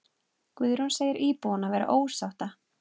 Guðrún segir íbúana vera ósátta.